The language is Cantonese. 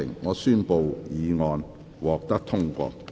我宣布議案獲得通過。